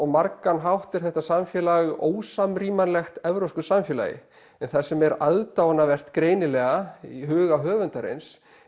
margan hátt er þetta samfélag ósamrýmanlegt evrópsku samfélagi en það sem er aðdáunarvert greinilega í huga höfundarins